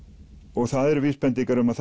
og það eru vísbendingar um að